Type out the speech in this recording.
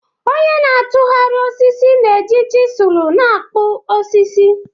Onye na-atụgharị osisi na-eji chisulu na-akpụ osisi.